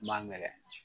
N ma ŋɛɲɛ